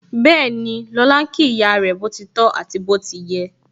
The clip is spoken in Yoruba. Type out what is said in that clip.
Bẹẹni, lọ́la ń kí ìyá rẹ, boti tọ àti bó ti yẹ